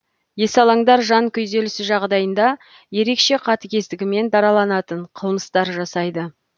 есалаңдар жан күйзелісі жағдайында ерекше қатігездігімен дараланатын қылмыстар жасайды